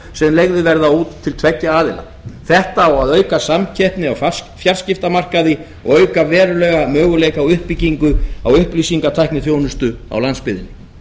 sem leigðir verða út til tveggja aðila þetta á að auka samskipti á fjarskiptamarkaði og auka verulega möguleika á uppbyggingu á upplýsingatækniþjónustu á landsbyggðinni